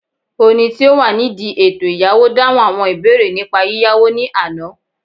oni ti o wa nidi eto iyawo dahun awọn ibeere nipa yiyawo ni Ana